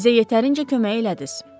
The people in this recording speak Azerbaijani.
Bizə yetərincə kömək elədiz.